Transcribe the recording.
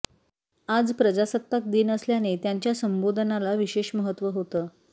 आज प्रजासत्ताक दिन असल्याने त्यांच्या संबोधनाला विशेष महत्त्व होतं